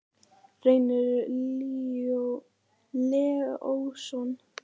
Reynir Leósson.